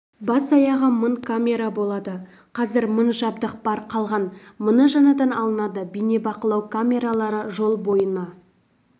бас-аяғы мың камера болады қазір мың жабдық бар қалған мыңы жаңадан алынады бейнебақылау камералары жол бойына